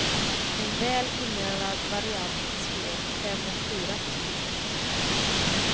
En väl inövad variant i spel fem mot fyra.